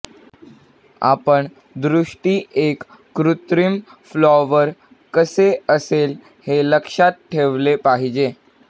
आपण दृष्टी एक कृत्रिम फ्लॉवर कसे असेल हे लक्षात ठेवले पाहिजे